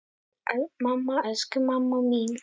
Mamma, elsku mamma mín.